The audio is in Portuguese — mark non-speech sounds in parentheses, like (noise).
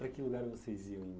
Para que lugar vocês iam em? (unintelligible)